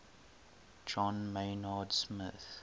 john maynard smith